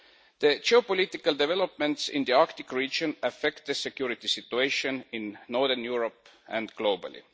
The geopolitical developments in the Arctic region affect the security situation in northern Europe and globally.